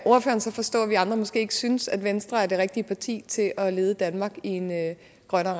så forstå at vi andre måske ikke synes at venstre er det rigtige parti til at lede danmark i en grønnere